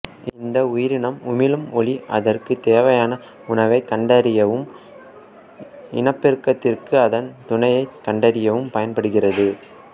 இந்த உயிரினம் உமிழும் ஒளி அதற்குத் தேவையான உணவைக் கண்டறியவும் இனப்பெருக்கத்திற்கு அதன் துணையைக் கண்டறியவும் பயன்படுகிறது